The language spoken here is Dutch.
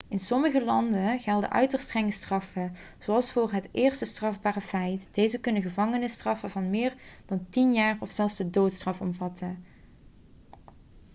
in sommige landen gelden uiterst strenge straffen zelfs voor het eerste strafbare feit deze kunnen gevangenisstraffen van meer dan 10 jaar of zelfs de doodstraf omvatten